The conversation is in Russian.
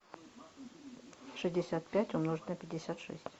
шестьдесят пять умножить на пятьдесят шесть